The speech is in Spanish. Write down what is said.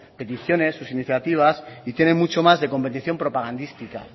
peticiones sus iniciativas y tiene mucho más de competición propagandística